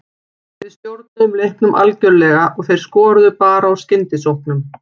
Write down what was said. Við stjórnuðum leiknum algjörlega og þeir skoruðu bara úr skyndisóknum.